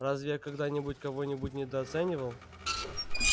разве я когда-нибудь кого-нибудь недооценивал